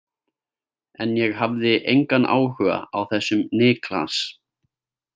En ég hafði engan áhuga á þessum Niklas.